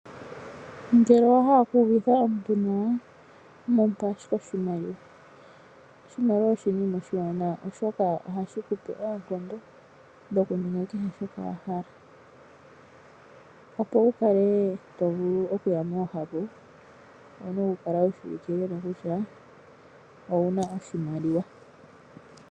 Ngele owahala oku uvitha omuntu nawa mupa ashike oshimaliwa. Oshimaliwa oshinima oshiwanawa oshoka ohashi kupe oonkondo dhokuninga kehe shoka wahala, opo wukale tovulu okuya moohapu owuna okukala wushiwike nawa kutya owuna oshimaliwa.